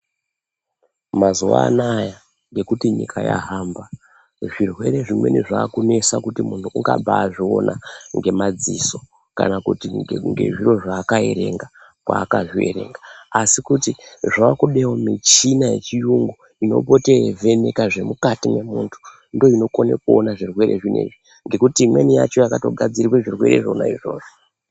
Mazuava anaaya ngekuti nyika yahamba zvirwere zvimweni zvakunesa kuti muntu ungabazviona ngemadziso kana kuti ngezviro zvaakaerenga kwaakazvierenga ,asikuti zvakudewo michina yechiyungu inopote yeivheneka zvemukati memuntu ndoinokone kuone zvirwere zvinezvi ngekuti imweni yacho yakatogadzirirwe zvirwere zvona izvozvo.